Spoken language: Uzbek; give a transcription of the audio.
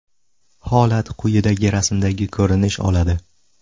Holat quyidagi rasmdagi ko‘rinish oladi.